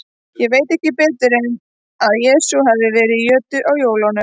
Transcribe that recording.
Ég veit ekki betur en að Jesús hafi verið í jötu á jólunum.